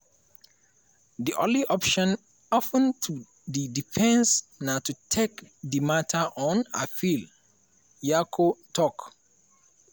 di only option open to di defence na to take di matter on appeal" nyako tok.